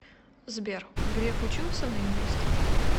сбер греф учился на юриста